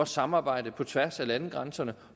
samarbejde på tværs af landegrænserne